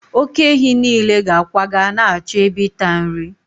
oke-ehi nile ga-akwaga na-achọ ebe ịta nri